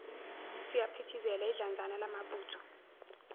siyaphithizela idlanzana lamabutho